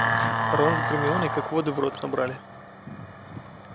рон с гермионой как воды в рот набрали